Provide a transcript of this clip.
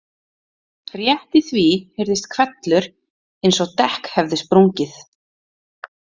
Rétt í því heyrðist hvellur, eins og dekk hefði sprungið.